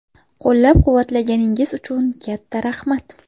Qo‘llab-quvvatlaganingiz uchun katta rahmat.